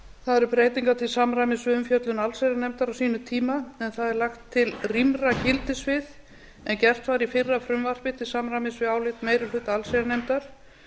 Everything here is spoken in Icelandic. það eru breytingar til samræmis við umfjöllun allsherjarnefndar á sínum eiga en það er lagt til rýmra gildissvið en gert var í fyrra frumvarpi til samræmis við álit meiri hluta allsherjarnefndar